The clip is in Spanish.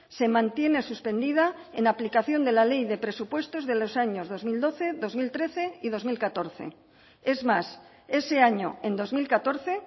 se mantiene suspendida en aplicación de la ley de presupuestos de los años dos mil doce dos mil trece y dos mil catorce es más ese año en dos mil catorce